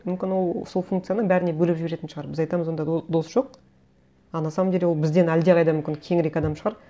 мүмкін ол сол функцияны бәріне бөліп жіберетін шығар біз айтамыз онда дос жоқ а на самом деле ол бізден әлдеқайда мүмкін кеңірек адам шығар